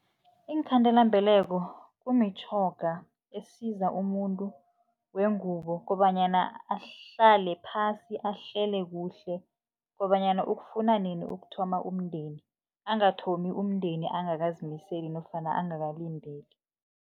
Iinkhandelambeleko kumitjhoga esiza umuntu wengubo kobanyana ahlale phasi, ahlele kuhle kobanyana ukufuna nini ukuthoma umndeni, angathomi umndeni angakazimiseli nofana angakalindeli.